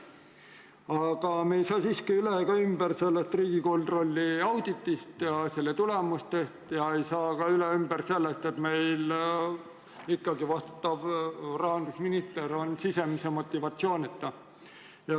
Aga me ei saa siiski üle ega ümber Riigikontrolli auditist ja selle tulemustest ning ei saa ka üle ega ümber sellest, et meie vastutav rahandusminister on sisemise motivatsioonita.